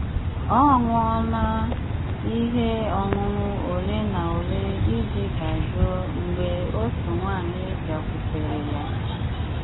Ó ṅụọ na íhé ọ́ṅụ́ṅụ́ ólé ná ólé íjì dájụ́ó mgbé ótú̀ nwàńyị́ bịákwutéré yá.